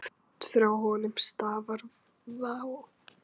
Oft frá honum stafar vá.